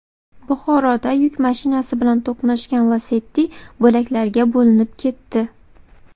Buxoroda yuk mashinasi bilan to‘qnashgan Lacetti bo‘laklarga bo‘linib ketdi.